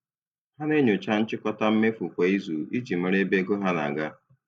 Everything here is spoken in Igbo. Ha na-enyocha nchịkọta mmefu kwa izu iji mara ebe ego na-aga.